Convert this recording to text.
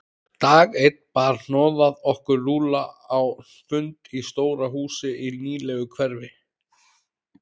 Dag einn bar hnoðað okkur Lúlla á fund í stóru húsi í nýlegu hverfi.